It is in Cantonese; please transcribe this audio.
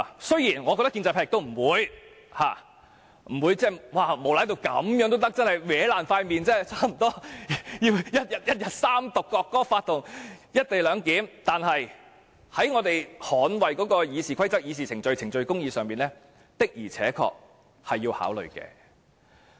雖然我認為建制派不會無賴至這種程度，差不多撕破臉地一天內完成《國歌法》和"一地兩檢"的三讀，但是在捍衞《議事規則》、議事程序、程序公義上，的確是要考慮的。